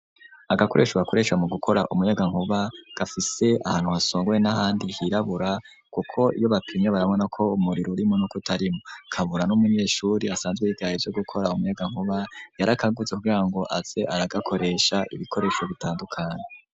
Agakoresho bakoresha mu gukora umuyaga nkuba gafise ahantu hasongoye n'ahandi hirabura, kuko iyo bapimnya barabona ko umuriro urimo no kutarimo kabura n'umunyeshuri asanzwe igaye byo gukora umuyagankuba yarakagutse kubrira ngo aze aragakoresha ibikoresho bitandukanye.